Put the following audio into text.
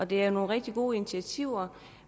det er nogle rigtig gode initiativer